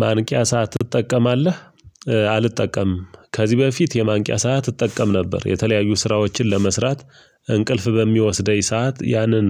ማንቂያ ሰዓት ትጠቀማለህ? አልጠቀምም ከዚህ በፊት የማንቂያ ሰዓት እጠቀም ነበር። የተለያዩ ስራዎችን ለመስራት እንቅልፍ በሚወስደኝ ሰዓት ያንን